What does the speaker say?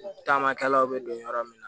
Taamakɛlaw bɛ don yɔrɔ min na